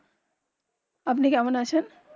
আপনি কেমন আছেন